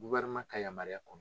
ka yamaruya kɔrɔ.